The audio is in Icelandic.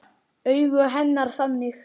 Augu hennar þannig.